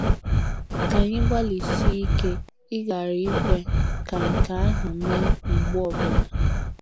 Ka anyị gbalịsie ike ịghara ikwe ka nke ahụ mee mgbe ọ bụla.